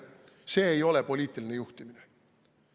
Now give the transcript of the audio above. See ei ole poliitiline juhtimine.